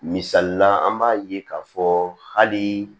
Misalila an b'a ye k'a fɔ hali